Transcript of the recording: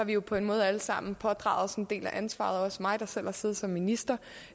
jo på en måde alle sammen pådraget os en del af ansvaret også mig der selv har siddet som minister